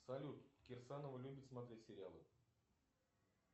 салют кирсанова любит смотреть сериалы